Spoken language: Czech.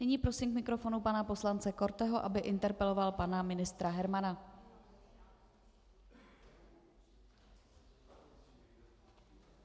Nyní prosím k mikrofonu pana poslance Korteho, aby interpeloval pana ministra Hermana.